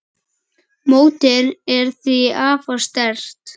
Mótið er því afar sterkt.